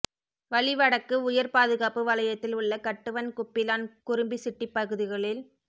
வலி வடக்கு உயர் பாதுகாப்பு வலயத்தில் உள்ள கட்டுவன் குப்பிளான் குரும்பிசிட்டிப் பகுதிகளில்